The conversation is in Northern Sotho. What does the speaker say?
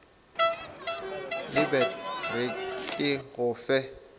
lebet re ke go fe